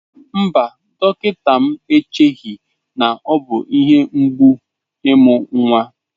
Mba, dọkịta m echeghị na ọ bụ ihe mgbu imu nnwa.